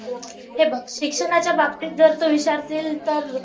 हे बघ शिक्षणाच्या बाबतीत तू विचारशील तर